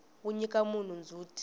wu nyika munhu ndzhuti